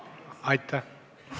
Aitäh!